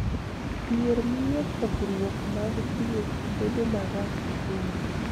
Dhier miyo pogruok mag thieth bedo marach ahinya.